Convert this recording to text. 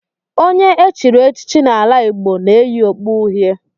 Onye e chiri echichi n'ala Igbo na-eyi okpu uhie